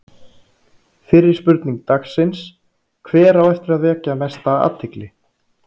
Fyrri spurning dagsins: Hver á eftir að vekja mesta athygli?